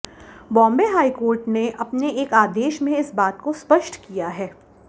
Bombay high court ने अपने एक आदेश में इस बात को स्पष्ट किया है